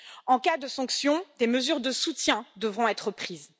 En cas de sanctions, des mesures de soutien devront être prises.